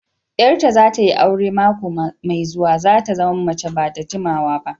Yar ta zata yi aure mako mai zuwa, zata zama mace ba da jimawa.